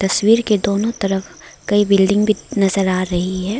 तस्वीर के दोनों तरफ कई बिल्डिंग भी नजर आ रही है।